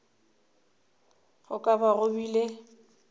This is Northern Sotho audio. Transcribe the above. go ka ba go bile